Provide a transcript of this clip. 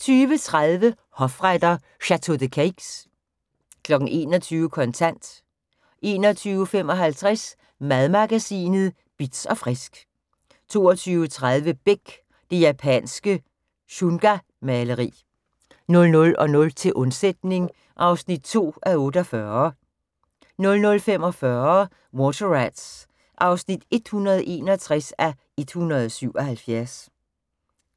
20:30: Hofretter: Château de Cayx 21:00: Kontant 21:55: Madmagasinet Bitz & Frisk 22:30: Beck: Det japanske shungamaleri 00:00: Til undsætning (2:48) 00:45: Water Rats (161:177)